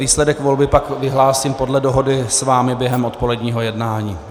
Výsledek volby pak vyhlásím podle dohody s vámi během odpoledního jednání.